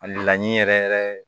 A laɲini yɛrɛ yɛrɛ